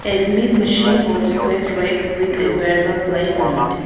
a machine or squared rack with a .